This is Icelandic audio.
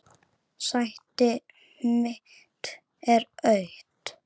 Sæti mitt er autt.